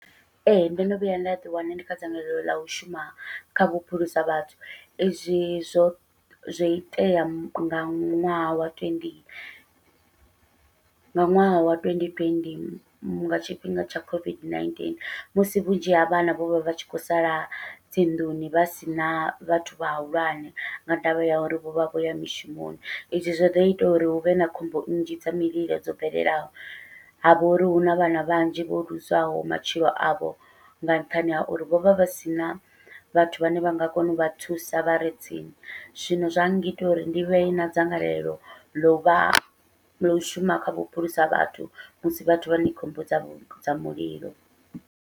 Ee ndo no vhuya nda ḓi wana ndi kha dzangalelo ḽa u shuma kha vhuphulusa vhathu, izwi zwo zwo itea nga ṅwaha wa twenty nga ṅwaha wa twendi twendi nga tshifhinga tsha COVID-19 musi vhunzhi ha vhana vho vha vha tshi khou sala dzinḓuni vha sina vhathu vhahulwane, nga ndavha ya uri vho vha vho ya mishumoni izwi zwa dovha zwa ita uri huvhe na khombo nnzhi dza mililo dzo bvelelaho. Havha uri huna vhana vhanzhi vho luzaho matshilo avho nga nṱhani ha uri vho vha vha sina vhathu vhane vha nga kona uvha thusa vhare tsini, zwino zwa ngita uri ndi vhe na dzangalelo ḽovha ḽo u shuma kha vhuphulusa vhathu musi vhathu vha khou mbudza vha khomboni dza mulilo.